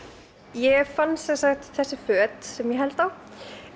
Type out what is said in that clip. ég fann sem sagt þessi föt sem ég held á